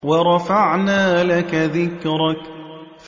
وَرَفَعْنَا لَكَ ذِكْرَكَ